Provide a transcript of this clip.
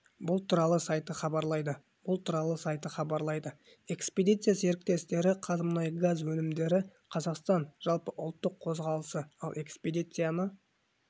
бұл туралы сайты хабарлайды бұл туралы сайты хабарлайды экспедиция серіктестері қазмұнайгазөнімдері қазақстан жалпыұлттық қозғалысы ал экспедицияны